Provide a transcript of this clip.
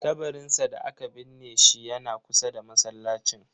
Kabarinsa da aka binne shi yana kusa da masallacin.